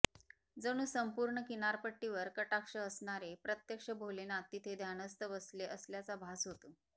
जणू संपूर्ण किनारपट्टीवर कटाक्ष असणारे प्रत्यक्ष भोलेनाथ तिथे ध्यानस्थ बसले असल्याचा भास होतो